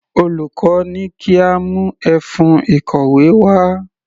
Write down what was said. Olùkọ́ ní kí a mú ẹfun ìkọ̀wé wá.